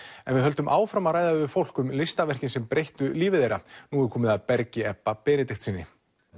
en við höldum áfram að ræða við fólk um listaverkin sem breyttu lífi þeirra nú er komið að Bergi Ebba Benediktssyni